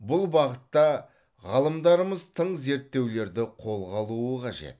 бұл бағытта ғалымдарымыз тың зерттеулерді қолға алуы қажет